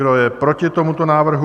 Kdo je proti tomuto návrhu?